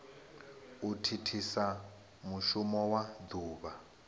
u thithisa mushumo wa duvha